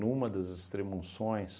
Numa das extrema-unções,